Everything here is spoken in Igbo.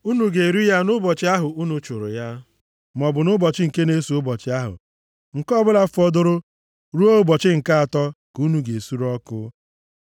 Unu ga-eri ya nʼụbọchị ahụ unu chụrụ ya, maọbụ nʼụbọchị nke na-eso ụbọchị ahụ. Nke ọbụla fọdụrụ ruo ụbọchị nke atọ ka unu ga-esure ọkụ.